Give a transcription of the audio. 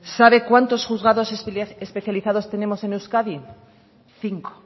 sabe cuántos juzgados especializados tenemos en euskadi cinco